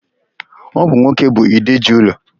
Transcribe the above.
Ọ bụ nwoke bụ ide ji ụlọ.